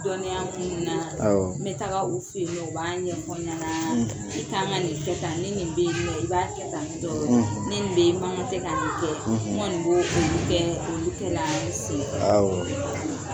Dɔnniya minnu na awɔ n bɛ taga u fɛ yen nɔ u b'a ɲɛfɔ n ɲanaa n bɛ taama le kɛ tan ni nin bɛ ye i b'a kɛ tanitɔ ni nin bɛ ye i makan tɛ ka ni kɛ n koni b' olu kɛra n se fɛ awɔ